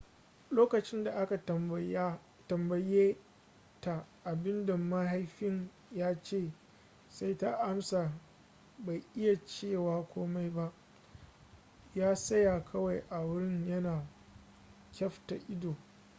lokacin da aka tambaye ta abin da mahaifin ya ce sai ta amsa bai iya cewa komai ba ya tsaya kawai a wurin yana kyafta ido